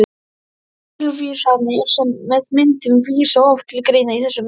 Tilvísanir með myndum vísa oft til greina í þessum ritum.